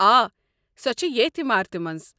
آ، سۄ چھےٚ ییٚتھۍ عمارتس منٛز۔